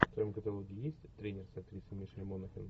в твоем каталоге есть тренер с актрисой мишель монахэн